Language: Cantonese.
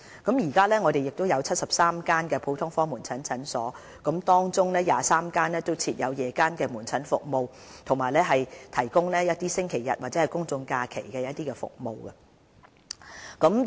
我們目前有73間普通科門診診所，當中23間設有夜間門診服務，亦有診所提供星期日及公眾假期門診服務。